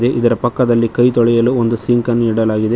ಇದರ ಪಕ್ಕದಲ್ಲಿ ಕೈ ತೋಳಿಯಲ ಒಂದು ಸಿಂಕ್ ಅನ್ನು ಇಡಲಾಗಿದೆ.